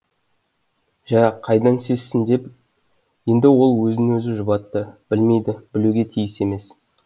жә қайдан сезсін деп енді ол өзін өзі жұбатты білмейді білуге тиіс емес